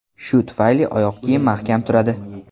Shu tufayli oyoq kiyim mahkam turadi.